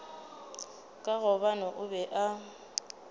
ka gobane o be a